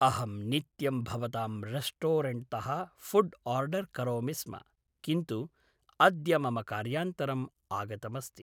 अहं नित्यं भवतां रेस्टोरेण्ट्तः फ़ुड् आर्डर् करोमि स्म किन्तु अद्य मम कार्यान्तरम् आगतमस्ति